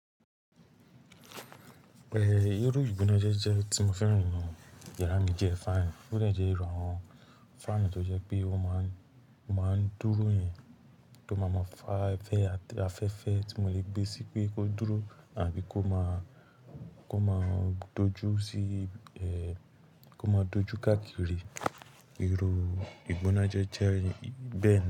Irú ìgbónájẹ́jẹ́ tí mo fẹ́ ràn ninu yàrá mi jẹ fan. Ó jẹ́ ìrù àwọn fan tó jẹ́ pé ó máa ń, ó máa ń dúró yẹn tó máa mọ fá fẹ́ afẹ́fẹ́ tí mo le gbé síi pé kó dúró àbí kó máa, kó máa dojú sí kó máa dojú káàkiri. Irú ìgbónájẹ́jẹ́ yẹn bẹ́ẹ̀ ni.